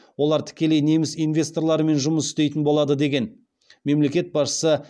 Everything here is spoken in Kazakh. олар тікелей неміс инвесторларымен жұмыс істейтін болады деген мемлекет басшысы